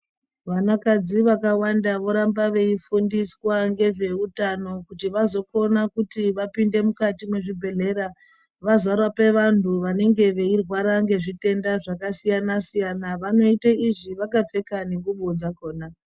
Vanakadzi vakawanda voramba veifundiswa ngezveutano kuti vazokona kuti vapinde mukati mezvibhehlera vazorape vantu vanenge veirwara ngezvitenda zvakasiyana-siyana, vanoite izvi vakapfeka nengubo dzakona.